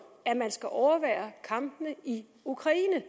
at man skal overvære kampene i ukraine